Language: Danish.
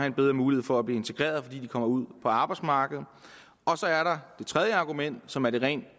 en bedre mulighed for at blive integreret fordi de kommer ud på arbejdsmarkedet så er der det tredje argument som er det rent